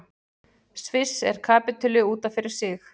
Sviss er kapítuli út af fyrir sig.